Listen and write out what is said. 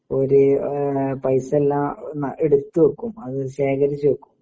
ഓര് ഏഹ് പൈസ്സെല്ലാ ഒന്ന എടുത്തു വെക്കും അത് ശേഖരിച്ച് വെക്കും.